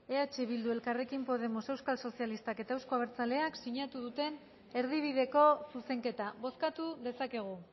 eh bildu elkarrekin podemos euskal sozialistak eta euzko abertzaleak sinatu duten erdibideko zuzenketa bozkatu dezakegu